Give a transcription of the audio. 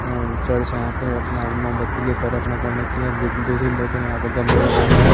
हम्म church है यहाँ पे अपना मोमबत्ती ले कर अपना क ड़ने के लिए यपर दो तीन लोग गमले लगा हुआ--